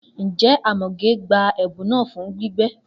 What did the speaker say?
Njẹ Amoge gba ẹbun naa fun gbígbẹ?